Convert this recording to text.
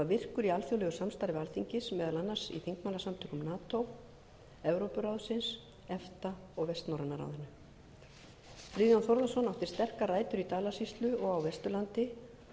virkur í alþjóðlegu samstarfi alþingis meðal annars í þingmannasamtökum nato evrópuráðsins efta og vestnorræna ráðinu friðjón þórðarson átti sterkar rætur í dalasýslu og á vesturlandi